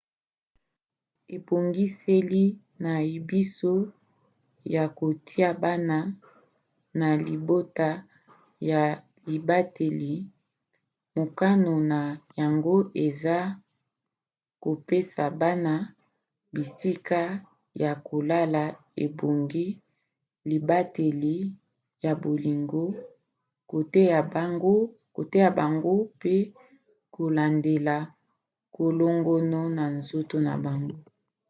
ebongiseli na biso ya kotia bana na libota ya libateli mokano na yango eza ay kopesa bana bisika ya kolala ebongi libateli ya bolingo koteya bango pe kolandela kolongono ya nzoto na bango